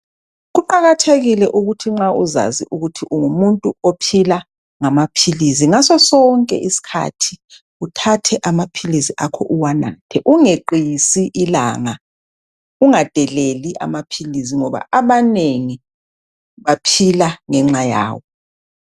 Kuqakathekile ukuthi nxa uzazi ukuthi ungumuntu ophila ngamaphilizi ngaso sonke isikhathi uthathe amaphilisi akho uwanathe ungeqisi ilanga ungadeleli amaphilisi ngoba abanengi baphila ngenxa yawo